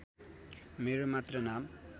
मेरो मात्र नाम